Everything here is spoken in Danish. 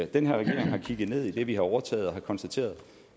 den her regering har kigget ned i det vi har overtaget og har konstateret